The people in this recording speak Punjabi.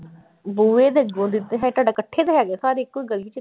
ਬੂਹੇ ਦੇ ਅੱਗੋਂ ਦੀ ਤੇ ਹੈ, ਤੁਹਾਡਾ ਇਕੱਠੇ ਤੇ ਹੈਗਾ ਘਰ ਇੱਕੋ ਹੀ ਗਲੀ ਚ।